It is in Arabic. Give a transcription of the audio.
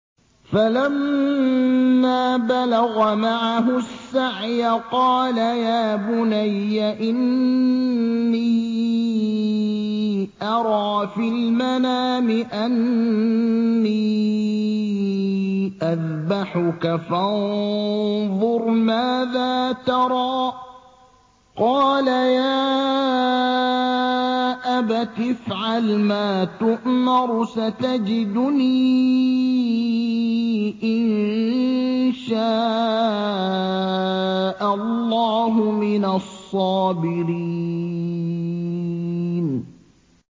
فَلَمَّا بَلَغَ مَعَهُ السَّعْيَ قَالَ يَا بُنَيَّ إِنِّي أَرَىٰ فِي الْمَنَامِ أَنِّي أَذْبَحُكَ فَانظُرْ مَاذَا تَرَىٰ ۚ قَالَ يَا أَبَتِ افْعَلْ مَا تُؤْمَرُ ۖ سَتَجِدُنِي إِن شَاءَ اللَّهُ مِنَ الصَّابِرِينَ